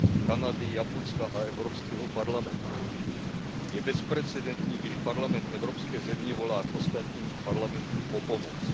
Kanady, Japonska a Evropského parlamentu. Je bezprecedentní, když parlament evropské země volá k ostatním parlamentům o pomoc.